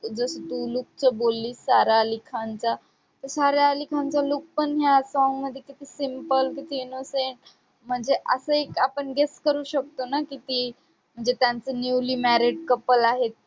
जसं तू look चं बोललीस सारा अली खानचा. तर सारा अली खानचा look पण ह्या song मध्ये किती simple, किती innocent म्हणजे असं एक आपण guess करू शकतो ना किती म्हणजे त्यांचं newly married couple आहेत,